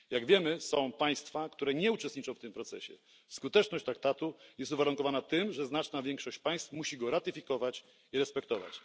Jak wiemy, są państwa, które nie uczestniczą w tym procesie. Skuteczność traktatu jest uwarunkowana tym, że znaczna większość państw musi go ratyfikować i respektować.